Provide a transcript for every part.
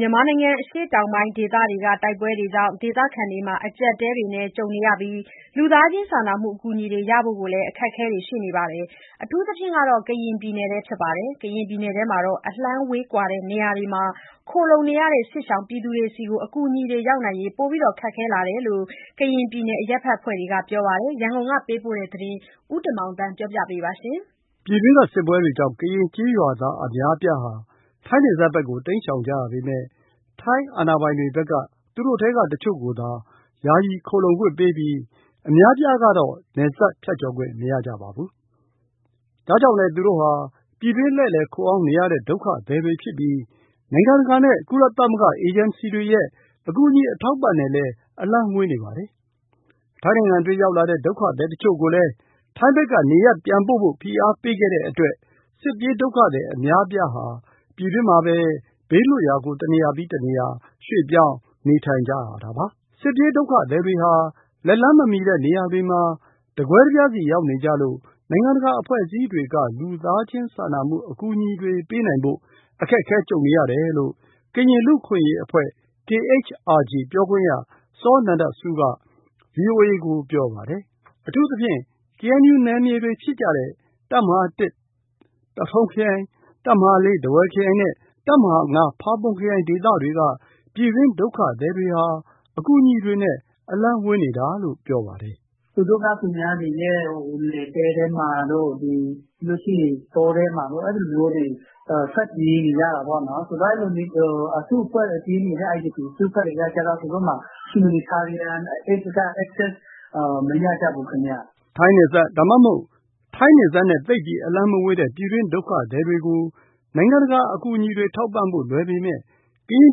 မြန်မာနိုင်ငံ အရှေ့တောင်ပိုင်းဒေသတွေက တိုက်ပွဲတွေကြောင့် ဒေသခံတွေမှာ အကျပ်အတည်းတွေကြုံနေပြီး လူသားချင်းစာနာမှုအကူအညီတွေရဖို့လည်း အခက်အခဲရှိနေပါတယ်။ အထူးသဖြင့် ကရင်ပြည်နယ်ထဲက အလှမ်းဝေးကွာတဲ့ နေရာတွေမှာ ခိုလှုံနေရတဲ့ စစ်ရှောင်တွေဆီကို အကူအညီတွေရောက်နိုင်ဖို့ ပိုပြီး ခက်ခဲလာတယ်လို့ ကရင်ပြည်နယ်ထဲက အရပ်ဘက်အဖွဲ့တွေက ပြောပါတယ်။ ရန်ကုန်ကပေးပို့တဲ့ ဒီသတင်း ဦးတင်မောင်သန်းက တင်ပြပေးထားပါတယ်။ ပြည်တွင်းကစစ်ပွဲတွေကြောင့် ကရင်ကျေးရွာသားအများအပြားဟာ ထိုင်းနယ်စပ်ဘက်ကို တိမ်းရှောင်ကြရပေမယ့် ထိုင်းအာဏာပိုင်တွေက အချို့ကိုသာ ယာယီခိုလှုံခွင့်ပေးပြီး အများအပြားကတော့ နယ်စပ်ဖြတ်ကျော်ခွင့်မရကြပါဘူး။ ဒါကြောင့် လည်း သူတို့ဟာ ပြည်တွင်းလှည့်လှည်ခိုအောင်းနေရတဲ့ ဒုက္ခသည်တွေဖြစ်ပြီး နိုင်ငံတကာနဲ့ ကုလသမဂ္ဂအေဂျင်စီတွေရဲ့ အကူအညီအထောက်အပံ့နဲ့လည်း အလှမ်းဝေးနေပါတယ်။ ထိုင်းနိုင်ငံတွင်း ရောက်လာတဲ့ ဒုက္ခသည်တချို့ကိုလည်း ထိုင်းဘက်က နေရပ်ပြန်ဖို့ ဖိအားပေးခဲ့တဲ့အတွက်လည်း စစ်ပြေးဒုက္ခသည်အများအပြားဟာ ပြည်တွင်းမှာပဲ ဘေးလွတ်ရာကို တနေရာပြီး တနေရာ ရွေ့ပြောင်းနေထိုင်နေရတာပါ။ စစ်ပြေးဒုက္ခသည်တွေဟာ လက်လှမ်းမမှီတဲ့နေရာတွေမှာ တကွဲတပြားစီရောက်နေကြလို့ နိုင်ငံတကာအဖွဲ့တွေက လူသားချင်းစာနာမှုအကူအညီတွေ ပေးနိုင်ဖို့ အခက်ကြုံကြရတယ်လို့ ကရင်လူ့အခွင့်အရေးအဖွဲ့ KHRG ပြောခွင့်ရ စောနန္ဒဆူးက ဗွီအိုအေကို ပြောပါတယ်။ အထူးသဖြင့် KNU နယ်မြေတွေဖြစ်တဲ့ တပ်မဟာ သထုံခရိုင်၊ တပ်မဟာ ထားဝယ်ခရိုင်နဲ့ တပ်မဟာ ဖာပွန်ခရိုင် ဒေသတွေက ပြည်တွင်းဒုက္ခသည်တွေဟာ အကူအညီတွေနဲ့ အလှမ်းဝေးနေတာလို့ ပြောပါတယ်။ "သူတို့က သူများတွေရဲ့နယ်ပယ်ထဲမှာတို့၊ ပြီးရင် တောထဲမှာတို့ အဲလိုမျိုးတွေ ထွက်ပြေးနေရတာပေါ့နော်။ အဲလိုမျိုး အစုအဖွဲ့ IDP တွေက humanitarian aid မရကြဘူး။" ထိုင်းနယ်စပ် ဒါမှမဟုတ် ထိုင်းနယ်စပ်နဲ့ သိပ်ပြီးအလှမ်းမဝေးတဲ့ ပြည်တွင်းဒုက္ခသည်တွေကို နိုင်ငံတကာ အကူအညီတွေထောက်ပံ့ဖို့ လွယ်ပေမယ့် ကရင်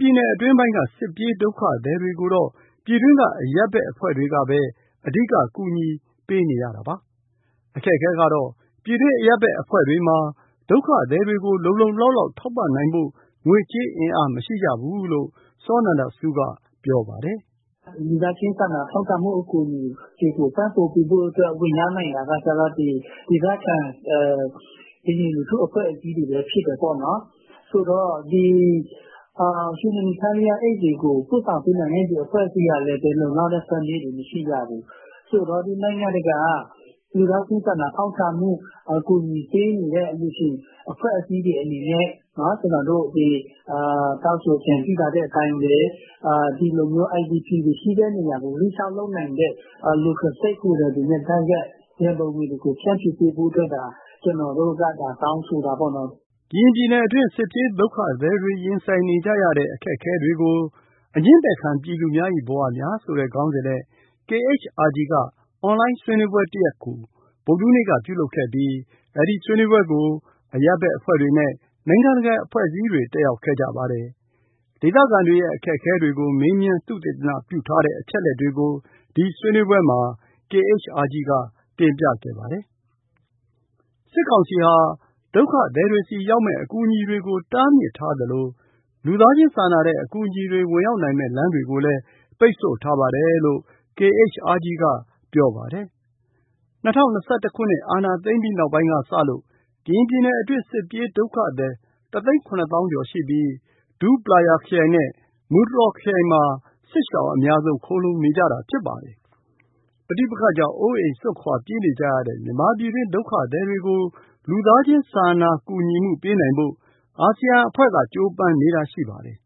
ပြည်နယ် အတွင်းပိုင်းက စစ်ပြေးဒုက္ခသည်တွေကိုတော့ ပြည်တွင်းက အရပ်ဘက်အဖွဲ့တွေကပဲ အဓိက ကူညီပေးနေရတာပါ။ အခက်အခဲကတော့ ပြည်တွင်းအရပ်ဘက်အဖွဲ့တွေမှာ ဒုက္ခသည်တွေကို လုံလုံလောက်လောက် ထောက်ပံ့နိုင်ဖို့ ငွေကြေးအင်အား မရှိဘူးလို့ စောနန္ဒဆူးက ပြောပါတယ်။ "လူသားချင်းစာနာတဲ့ အကူအညီတွေပံ့ပိုးဖို့ ဝင်ရောက်နိုင်တာက ဒေသခံ ကရင်လူထုအဖွဲ့အစည်းတွေပဲ ဖြစ်တယ်ပေါ့နော်။ ဆိုတော့ ဒီအကူအညီတွေကို ပို့ဆောင်ပေးနိုင်တဲ့ ဒီအဖွဲ့အစည်းကလည်း လုံလောက်တဲ့ funding မရှိကြဘူး။ ဆိုတော့ ဒီနိုင်ငံတကာ လူသားချင်းစာနာတဲ့ အကူအညီတွေပေးနေတဲ့ အလှူရှင်အဖွဲ့အစည်းတွေအနေနဲ့ ကျနော်တို့ တောင်းဆိုအကြံပြုထားတဲ့ အတိုင်းပဲ ဒီလို IDP တွေရှိနိုင်တဲ့နေရာတွေကို ရောက်နိုင်ဖို့ local stakeholder တွေနဲ့ တိုက်ရိုက် ရံပုံငွေတွေကို ဖြန့်ဖြူးပေးဖို့ ကျနော်တို့က တောင်းဆိုတာပေါ့နော်။" ကရင်ပြည်နယ်တွင်း စစ်ပြေးဒုက္ခသည်တွေ ရင်ဆိုင်နေရတဲ့ အခက်အခဲတွေကို "ငြင်းပယ်ခံပြည်သူများ၏ဘဝများ" ဆိုတဲ့ခေါင်းစဉ်နဲ့ KHRG က အွန်လိုင်းဆွေးနွေးပွဲတခုကို ဗုဒ္ဓဟူးနေ့က ပြုလုပ်ခဲ့ပြီး အဲဒီဆွေးနွေးပွဲကို အရပ်ဘက်အဖွဲ့တွေနဲ့ နိုင်ငံတကာအဖွဲ့အစည်းတွေ တက်ရောက်ခဲ့ပါတယ်။ ဒေသခံတွေရဲ့ အခက်အခဲတွေကို မေးမြန်းသုတေသနပြုထားတဲ့ အချက်အလက်တွေကို ဒီဆွေးနွေးပွဲမှာ KHRG ကတင်ပြခဲ့ပါတယ်။ စစ်ကောင်စီဟာ ဒုက္ခသည်တွေဆီရောက်မယ့် အကူအညီတွေကို တားမြစ်ထားသလို၊ လူသားချင်းစာနာတဲ့ အကူအညီတွေ ဝင်ရောက်နိုင်မယ့် လမ်းတွေကိုလည်း ပိတ်ဆို့ထားပါတယ်လို့ KHRG ကပြောပါတယ်။ ၂၀၂၁ အာဏာသိမ်းပြီးနောက်ပိုင်းကစလို့ ကရင်ပြည်နယ်အတွင်း စစ်ပြေးဒုက္ခသည် ၁၇၀,၀၀၀ ကျော်ရှိပြီး ဒူးပလာယာ ခရိုင်နဲ့ မူတြော်ခရိုင်မှာ စစ်ရှောင်အများဆုံး ခိုလှုံနေကြတာ ဖြစ်ပါတယ်။ ပဋိပက္ခကြောင့် အိုးအိမ်စွန့်ခွာပြေးနေကြရတဲ့ မြန်မာပြည်တွင်း ဒုက္ခသည်တွေကို လူသားချင်းစာနာကူညီမှုပေးနိုင်ဖို့ အာဆီယံအသင်းက ကြိုးပမ်းနေတာရှိပါတယ်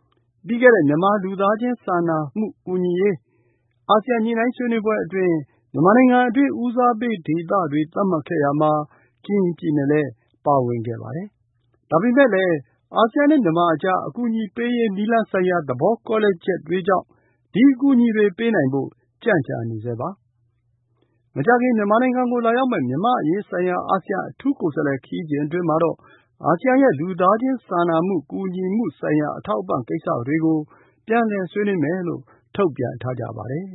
။ ပြီးခဲ့တဲ့ မြန်မာလူသားချင်းစာနာကူညီမှုဆိုင်ရာ အာဆီယံညှိနှိုင်းဆွေးနွေးပွဲအတွင်း မြန်မာနိုင်ငံတွင်း ဦးစားပေးဒေသတွေ သတ်မှတ်ခဲ့ရာမှာ ကရင်ပြည်နယ်လည်းပါဝင်ပါတယ်။ ဒါပေမယ့်လည်း အာဆီယံနဲ့မြန်မာအကြား အကူအညီပေးရေးနည်းလမ်းဆိုင်ရာ သဘောကွဲလွဲချက်တွေကြောင့် ဒီအကူအညီတွေပေးနိုင်ဖို့ ကြန့်ကြာနေဆဲပါ။ မကြာခင် မြန်မာနိုင်ငံကို လာရောက်မယ့် မြန်မာအရေးဆိုင်ရာ အာဆီယံအထူးကိုယ်စားလှယ် ခရီးစဉ်အတွင်းမှာတော့ အာဆီယံရဲ့ လူသားချင်းစာနာကူညီမှုဆိုင်ရာ အထောက်အပံ့ကိစ္စတွေ ပြန်လည်ဆွေးနွေးမယ်လို့ ထုတ်ပြန်ထားကြပါတယ်။